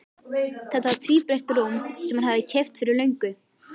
Þetta var tvíbreitt rúm sem hann hafði keypt fyrir löngu.